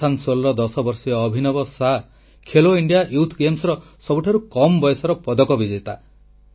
ଆସାନସୋଲର 10 ବର୍ଷୀୟ Abhinav Sah Khelo India youth ଗେମ୍ସର ସବୁଠାରୁ କମ୍ ବୟସର ପଦକ ବିଜେତା